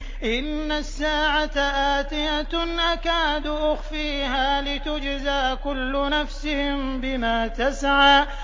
إِنَّ السَّاعَةَ آتِيَةٌ أَكَادُ أُخْفِيهَا لِتُجْزَىٰ كُلُّ نَفْسٍ بِمَا تَسْعَىٰ